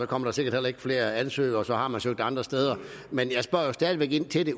kommer der sikkert heller ikke flere ansøgere for så har man søgt andre steder men jeg spørger stadig væk ind til det